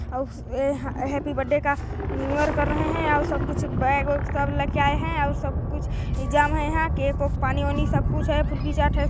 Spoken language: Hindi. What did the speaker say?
और हा या हैपी बर्थडे का न्यू ईयर कर रहे है और सब कुछ बैग ओग लेकर आए हैं और सब कुछ और सब कुछ इंतजाम है यहाँ केक -ऊक पानी -ओनी सब कुछ है फुल्की चार्ट हैं।